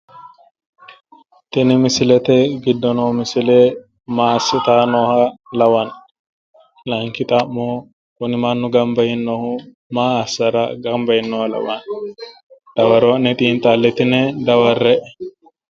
Tini misilete giddo noo misile maassitayi nooha lawanno? laayiinki xa'mo kuni mannu gamaba yiinohu maa assanno? gamba yiinoha lawanno? dawaro'ne xiinxallitine daware'e.